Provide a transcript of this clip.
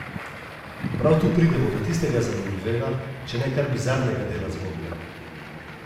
Prav tu pridemo do tistega zanimivega, če ne kar bizarnega dela zgodbe.